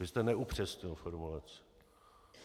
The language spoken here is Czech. Vy jste neupřesnil formulaci.